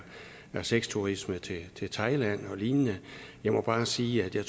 er sexturisme til til thailand og lignende jeg må bare sige at jeg